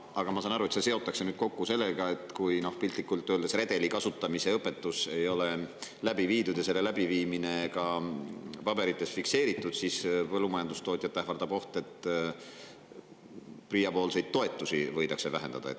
Aga ma saan aru, et see seotakse nüüd kokku sellega, et kui piltlikult öeldes redeli kasutamise õpetus ei ole läbi viidud ja selle läbiviimine ka paberites fikseeritud, siis ähvardab põllumajandustootjat oht, et PRIA toetusi võidakse vähendada.